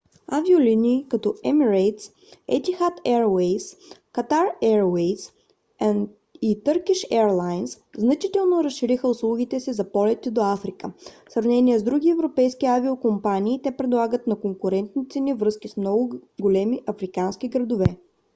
авиолинии като emirates etihad airways qatar airways и turkish airlines значително разшириха услугите си за полети до африка. в сравнение с други европейски авиокомпании те предлагат на конкурентни цени връзки с много големи африкански градове